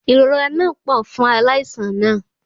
Ìrora náà pọ̀ fún aláìsàn náà